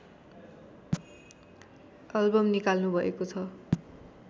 album निकाल्नुभएको छ